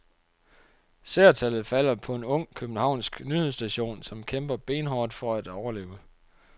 Seertallet falder på en ung, københavnsk nyhedsstation, som kæmper benhårdt for at overleve.